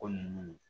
Ko nunnu